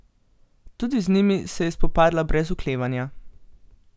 Tudi z njimi se je spopadla brez oklevanja.